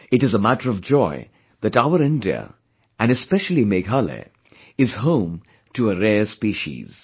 It is a matter of joy that our India, and especially Meghalaya is home to a rare species